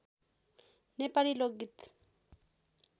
नेपाली लोकगीत